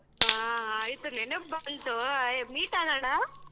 ಹಾ ಆಯ್ತು ನೆನಪ್ ಬಂತು ಆಯ್ meet ಆಗಣ?